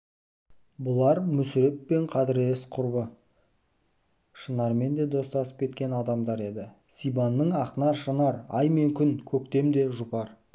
бұлар мүсіреппен қадірлес құрбы шынармен де достасып кеткен адамдар еді сибанның ақнар шынар ай мен күні көктемде жұпар